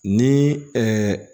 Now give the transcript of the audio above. Ni